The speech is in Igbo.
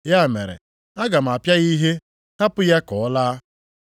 Ya mere aga m apịa ya ihe hapụ ya ka ọ laa.”